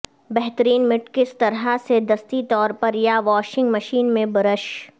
بہترین مٹ کس طرح سے دستی طور پر یا واشنگ مشین میں برش